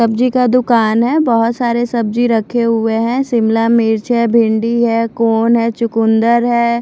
सब्जी का दूकान है बोहोत सारे सब्जी रखे हुए है शिमला मिर्च है भिन्डी है कॉर्न है चुकुन्दर है।